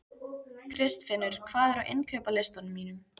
Kristfinnur, hvað er á innkaupalistanum mínum?